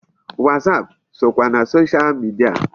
WhatsApp sokwa na social media.